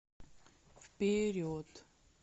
вперед